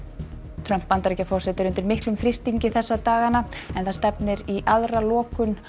Trump Bandaríkjaforseti er undir miklum þrýstingi þessa dagana en það stefnir í aðra lokun